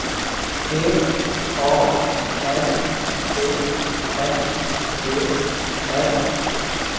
P A R T N E R